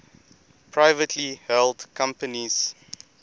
privately held companies